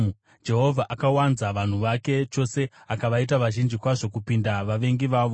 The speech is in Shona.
Jehovha akawanza vanhu vake chose; akavaita vazhinji kwazvo kupinda vavengi vavo,